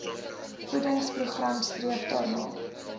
voedingsprogram streef daarna